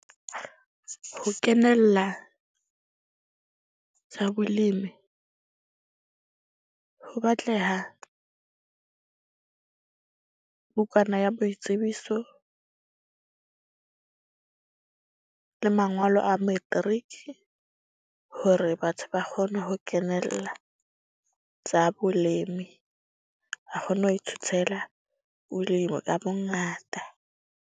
Ho kenella tsa bolemi ho batleha bukana ya boitsebiso le mangolo a metriki. Hore batho ba kgone ho kenella tsa bolemi. A kgone ho ithutela bolemi ka bongata.